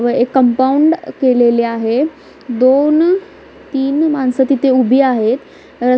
व एक कंपाऊंड केलेले आहे दोन तीन माणसं तिथे उभी आहेत.